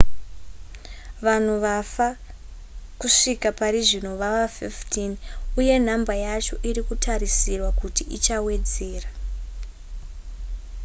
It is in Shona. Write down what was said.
vanhu vafa kusvika parizvino vava 15 uye nhamba yacho iri kutarisirwa kuti ichawedzera